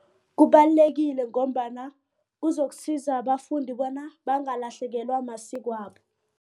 Kubalulekile ngombana kuzokusiza abafundi bona bangalahlekelwa masikwabo.